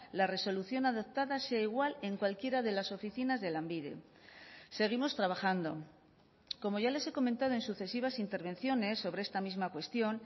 la resolución adoptada sea igual en cualquiera de las oficinas de lanbide seguimos trabajando como ya les he comentado en sucesivas intervenciones sobre esta misma cuestión